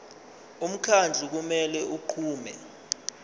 umkhandlu kumele unqume